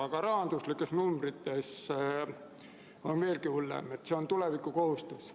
Aga rahanumbrites on asi veelgi hullem – see on tulevikukohustus.